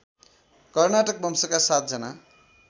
कर्नाटक वंशका सातजना